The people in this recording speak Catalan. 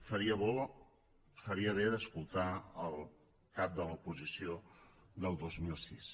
faria bé d’escoltar el cap de l’oposició del dos mil sis